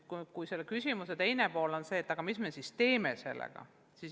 Kuid selle küsimuse teine pool on see, et mis me siis teeme nende andmetega.